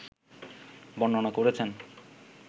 বর্ণনা করেছেন